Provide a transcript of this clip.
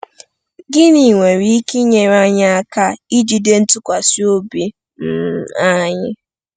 Gịnị nwere ike inyere anyị aka ijide ntụkwasị obi um anyị?